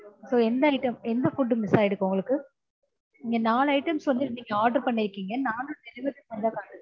sir எந்த item எந்த food miss ஆயிருக்கு உங்களுக்கு? இங்க நாலு items வந்து நீங்க order பண்ணிருக்கீங்க நாலும் delivered னு தான் காட்டுது.